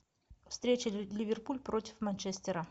встреча ливерпуль против манчестера